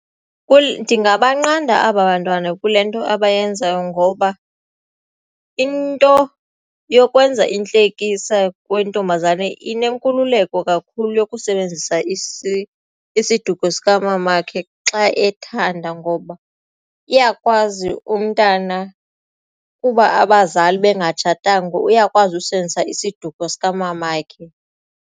Ndingabanqanda aba bantwana kule nto abayenzayo ngoba into yokwenza intlekisa kwentombazane inenkululeko kakhulu yokusebenzisa isiduko sikamamakhe xa ethanda ngoba iyakwazi umntana kuba abazali bengatshatanga uyakwazi usebenzisa isiduko sikamamakhe.